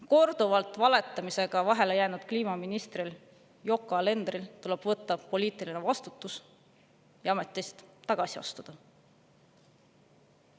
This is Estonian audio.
Korduvalt valetamisega vahele jäänud kliimaministril Yoko Alenderil tuleb võtta poliitiline vastutus ja ametist tagasi astuda.